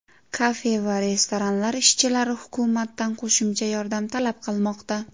Kafe va restoranlar ishchilari hukumatdan qo‘shimcha yordam talab qilmoqda.